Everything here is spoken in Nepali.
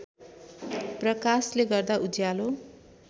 प्रकाशले गर्दा उज्यालो